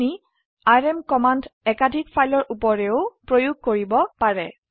আপোনি RM command একাধিক ফাইলৰ উপৰেও প্ৰয়োগ কৰিব পাৰে